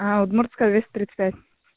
аа удмуртская двести тридцать пять